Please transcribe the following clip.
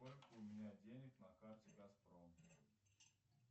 сколько у меня денег на карте газпром